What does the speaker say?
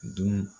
Dun